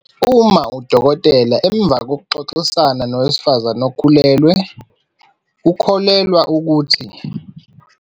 uma udokotela, emva kokuxoxisana nowesifazane okhulelwe, ukholelwa ukuthi.